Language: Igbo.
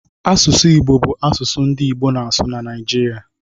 Asụsụ Igbo bụ asụsụ ndị Igbo na-asụ na Naịjirịa